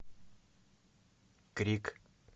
крик